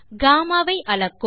கம்மா ஐ அளக்கும்